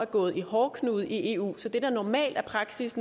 gået i hårdknude i eu så det der er normal praksis